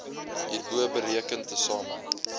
hierbo bereken tesame